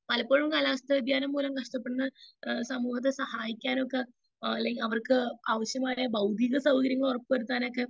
speaker 2 എപ്പോഴും കാലാവസ്ഥ വ്യതിയാനം മൂലം നഷ്ടപ്പെടുന്ന സമൂഹത്തെ സഹായിക്കാനൊക്കെ അല്ലെങ്കിൽ അവർക്ക് ആവശ്യമായ ഭൗതിക സൗകര്യങ്ങൾ ഉറപ്പു വരുത്താനായിട്ട്